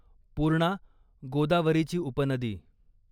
पूर्णा गोदावरीची उपनदी